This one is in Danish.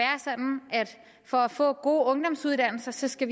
for at få gode ungdomsuddannelser skal